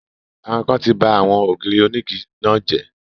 Àwọn ikán ti ba àwọn ògiri onígi náà jẹ́